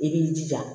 I b'i jija